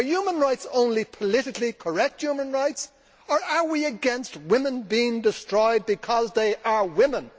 Are human rights only politically correct human rights, or are we against women being destroyed because they are women?